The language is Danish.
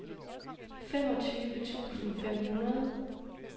femogtyve tusind fem hundrede